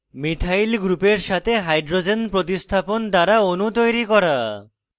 methyl গ্রুপের সাথে hydrogen প্রতিস্থাপন দ্বারা অণু তৈরি করা